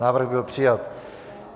Návrh byl přijat.